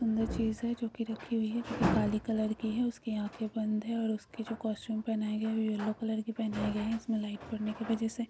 अंदर चीज हैं जो को रखी हुई हैं काले कलर की हैं और उसके आंखे बंद हैं और उसके जो कॉस्टयूम पहनाए गए हैं येलो कलर के पहनाए गए हैं इसके लाइट पड़ने के वजह से--